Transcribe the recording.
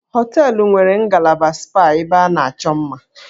Hóteélụ̀ nwere ngalaba spa ebe a na-achọ mma